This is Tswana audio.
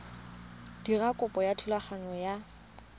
dira kopo ya thulaganyo ya